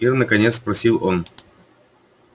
ир наконец спросил он